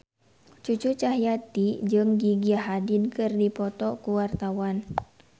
Cucu Cahyati jeung Gigi Hadid keur dipoto ku wartawan